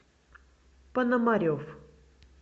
пономарев